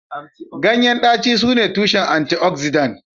Ganyen daci sune tushen tushen antioxidant